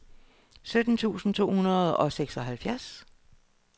sytten tusind to hundrede og seksoghalvfjerds